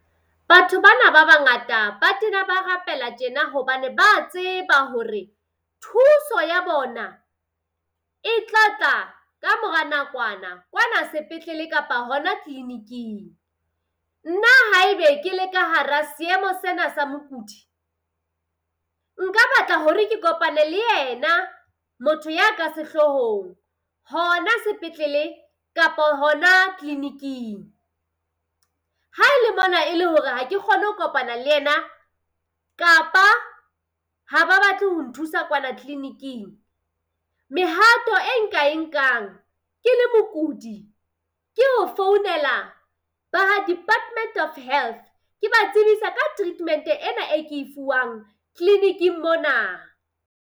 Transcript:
Batho bana ba bangata ba tena ba rapela tjena hobane ba tseba hore thuso ya bona e tla tla kamora nakwana kwana sepetlele kapa hona tleleniking Nna haebe ke le ka hara seemo sena sa mokudi nka batla hore ke kopane le ena motho ya ka sehlohong hona sepetlele kapa hona tleleniking. Haele mona e le hore ha ke kgone ho kopana le ena kapa ha ba batle ho nthusa kwana tleleniking, mehato e nka e nkang ke le mokudi ke ho founela ba ha Department of Health. Ke ba tsebise ka treatment ena e ke e fuwang tleleniking mona.